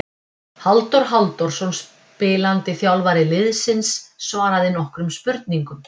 Halldór Halldórsson spilandi þjálfari liðsins svaraði nokkrum spurningum.